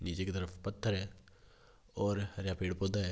नीचे की तरफ पत्थर है और हरा पेड़ पौधा है।